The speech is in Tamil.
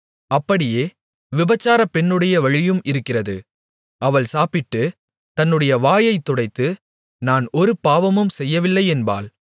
அப்படியே விபசார பெண்ணுடைய வழியும் இருக்கிறது அவள் சாப்பிட்டு தன்னுடைய வாயைத் துடைத்து நான் ஒரு பாவமும் செய்யவில்லை என்பாள்